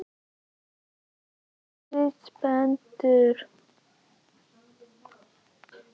Er Sindri spenntur?